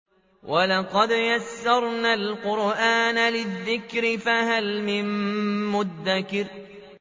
وَلَقَدْ يَسَّرْنَا الْقُرْآنَ لِلذِّكْرِ فَهَلْ مِن مُّدَّكِرٍ